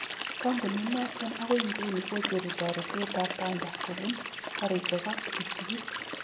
Kampunit noton okoi iguni kocheru toretet tab banda kopun garishek ak ptuktukit.